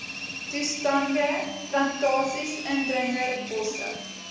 toestande plantasies indringerbosse